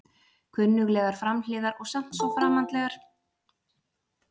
Kunnuglegar framhliðar og samt svo framandlegar, allar komnar með tvöföld gler eins og gervitennur.